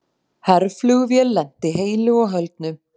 Herflugvél lenti heilu og höldnu